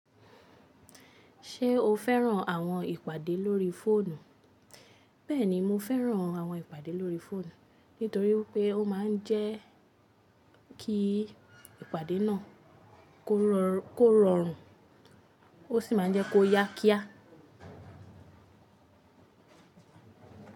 Ṣé o fẹ́ràn àwọn ìpàdé lórí fóònù? Bẹ́ẹ̀ni, mo fẹ́ràn àwọn ìpàdé lórí fóònù nítorí pé ó máa ń jẹ́ kí ìpàdé náà kó rọrùn ó sì máa ń jẹ́ kó yá kíá.